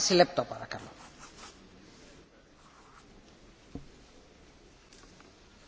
Madame la Présidente, Monsieur le Président, Monsieur le Ministre, il y a un grand absent aujourd'hui, c'est M.